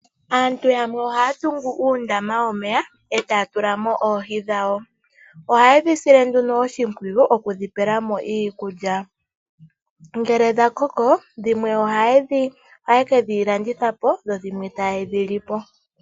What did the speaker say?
Aantu yamwe ohaya tungu uundama womeya , etaya tula mo oohi dhawo. Ohaye dhi sile oshimpwiyu okudhi pela mo iikulya . Ngele dhakoko dhimwe ohaye kedhi landithapo, yimwe taye dhi lipo.